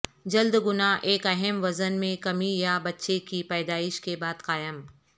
جلد گنا ایک اہم وزن میں کمی یا بچے کی پیدائش کے بعد قائم